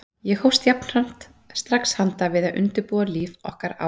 Ég hófst jafnframt strax handa við að undirbúa líf okkar á